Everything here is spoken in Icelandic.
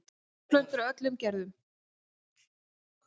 Dvergplöntur af öllum gerðum.